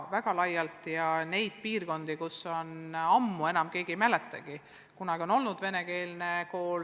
Samas on piirkondi, kus enam ammu keegi ei mäletagi, et kunagi on seal olnud venekeelne kool.